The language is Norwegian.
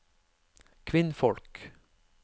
kvinnfolk